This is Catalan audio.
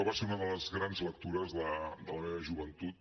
va ser una de les grans lectures de la meva joventut